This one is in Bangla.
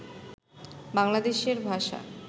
বাংলাদেশের ভাষা